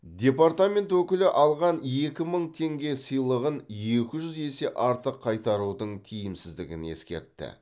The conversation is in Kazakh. департамент өкілі алған екі мың теңге сыйлығын екі жүз есе артық қайтарудың тиімсіздігін ескертті